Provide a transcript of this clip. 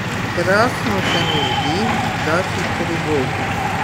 Krasno se mi zdi, da si privolil.